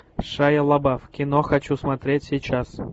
шайа лабаф кино хочу смотреть сейчас